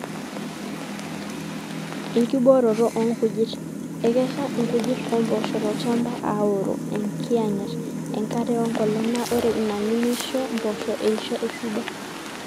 enkibooroto oonkujit: ekesha inkujit ompoosho tolchamba aaorro enkiyang'et, enkare wenkolong naa ore ina nimisho mpoosho eisho esidai